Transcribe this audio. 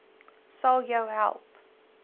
sal jou help